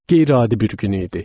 Qeyri-adi bir gün idi.